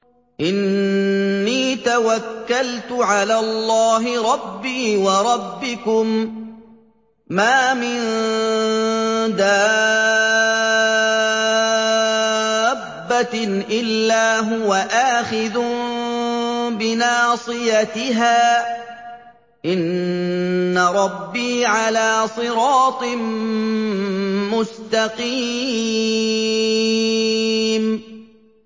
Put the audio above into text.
إِنِّي تَوَكَّلْتُ عَلَى اللَّهِ رَبِّي وَرَبِّكُم ۚ مَّا مِن دَابَّةٍ إِلَّا هُوَ آخِذٌ بِنَاصِيَتِهَا ۚ إِنَّ رَبِّي عَلَىٰ صِرَاطٍ مُّسْتَقِيمٍ